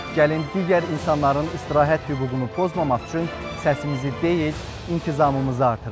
Gəlin digər insanların istirahət hüququnu pozmamaq üçün səsimizi deyil, intizamımızı artıraq.